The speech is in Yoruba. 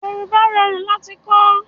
Yorùbá rorun lati kọ̀